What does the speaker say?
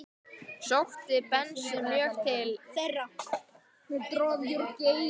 Sótti Bensi mjög til þeirra.